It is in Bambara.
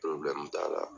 t'a la